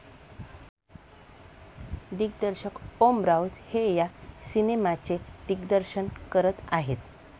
दिग्दर्शक ओम राऊत हे या सिनेमाचे दिग्दर्शन करत आहेत.